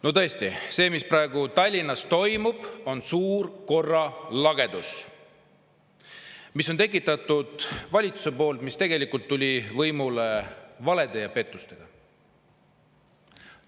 No tõesti, see, mis praegu Tallinnas toimub, on suur korralagedus, mille on tekitanud valitsus, kes tegelikult tuli võimule valede ja pettustega.